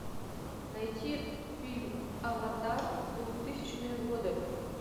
найти фильм аватар двухтысячные годы